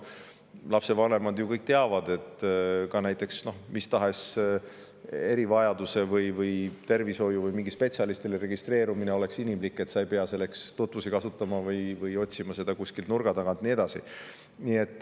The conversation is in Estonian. Lapsevanemad ju kõik teavad, et näiteks mis tahes erivajaduse pärast või tervisliku olukorra tõttu spetsialisti juurde registreerumine peaks olema inimlik, et keegi ei peaks selleks tutvusi kasutama või otsima abi kuskilt nurga tagant ja nii edasi.